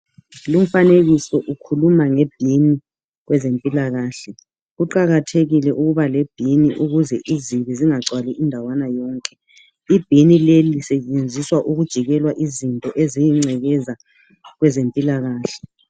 Lumfanekiso lo ukhuluma ngebhumu kwezempilakahle kuqakathekile ukuba lebhimu ukuze izibi zingagcwali indawana yonke. Ibhumu leli lisetshenziswa ukujikelwa izibi kwezempilakahle.